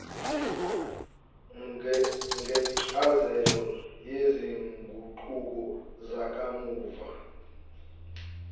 ngencazelo yezinguquko zakamuva